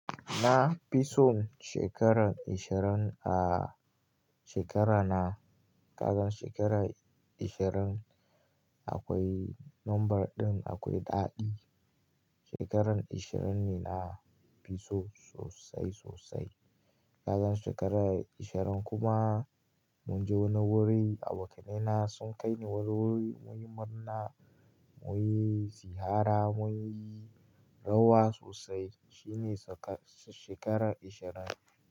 Na fi son shekarar ishirin, ah shekarana. Kagan shekarar ishirin akwai lambar ɗin akwai ɗaɗi. Shekarar ishirin ne na fi so sosai sosai. Kagan shekarar ishirin kuma mun je wani wuri, abokaina sun kai ni wani wuri mun yi murna, mun yi ziyara, mun yi rawa sosai. Shi ne shekarar ishirin.